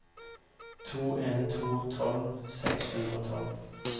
to en en to tolv seks hundre og tolv